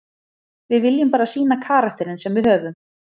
Við viljum bara sýna karakterinn sem við höfum.